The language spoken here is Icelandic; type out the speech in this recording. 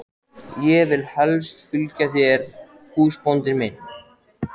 Ég vil helst fylgja þér húsbóndi minn.